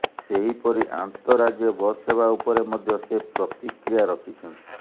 ସେହିପରି ଆନ୍ତଃରାଜ୍ୟ ବସ ସେବା ଉପରେ ମଧ୍ୟ ସେ ପ୍ରତିକ୍ରିୟା ରଖିଛନ୍ତି